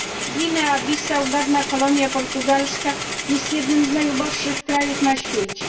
Gwinea Bissau, dawna kolonia portugalska, jest jednym z najuboższych krajów na świecie.